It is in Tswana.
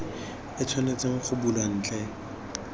e tshwanetseng go bulwa ntle